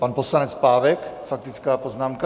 Pan poslanec Pávek, faktická poznámka.